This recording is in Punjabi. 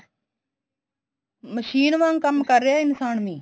ਮਸ਼ੀਨ ਵਾਂਗ ਕੰਮ ਕਰ ਰਿਹਾ ਇਨਸਾਨ ਵੀ